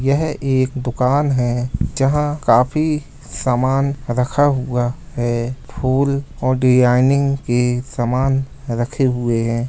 यह एक दुकान है जहाँ काफी सामान रखा हुआ है | फूल और डिजाइनिंग के समान रखे हुए हैं ।